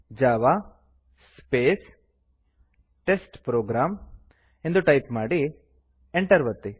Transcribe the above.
Java space test program ಎಂದು type ಮಾಡಿ Enter ಒತ್ತಿ